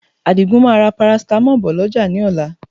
Àdìgún máa ra paracetamol bọ̀ lọ́jà ní ọ̀la